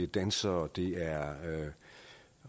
dansere det er